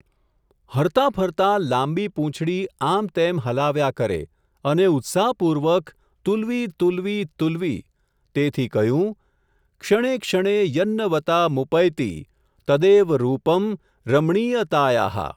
હરતાં ફરતાં લાંબી પૂંછડી, આમતેમ હલાવ્યા કરે, અને ઉત્સાહપૂર્વક તુલ્વી તુલ્વી તુલ્વી, તેથી કહ્યું, ક્ષણે ક્ષણે યન્નવતામુપૈતિ, તદેવ રૂપમ રમણીયતાયાઃ.